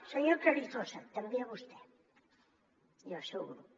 senyor carrizosa també a vostè i al seu grup